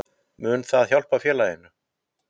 Mun það hjálpa félaginu?